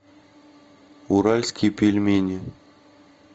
уральские пельмени